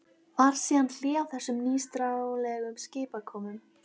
Varð síðan hlé á þessum nýstárlegu skipakomum.